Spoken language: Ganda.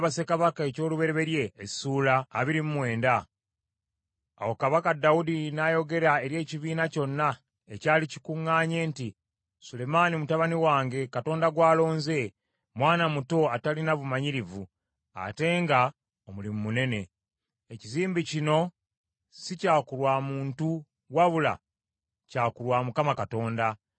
Awo Kabaka Dawudi n’ayogera eri ekibiina kyonna ekyali kikuŋŋaanye nti, “Sulemaani mutabani wange, Katonda gw’alonze, mwana muto atalina bumanyirivu, ate nga omulimu munene. Ekizimbe kino si kya ku lwa muntu wabula kya ku lwa Mukama Katonda.